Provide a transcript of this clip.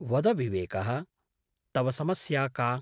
वद विवेकः, तव समस्या का?